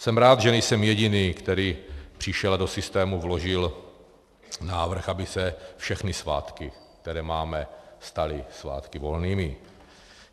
Jsem rád, že nejsem jediný, který přišel a do systému vložil návrh, aby se všechny svátky, které máme, staly svátky volnými.